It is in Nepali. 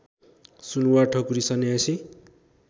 सुनुवार ठकुरी सन्यासी